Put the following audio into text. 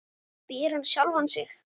spyr hann sjálfan sig.